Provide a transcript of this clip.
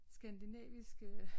Skandinavisk øh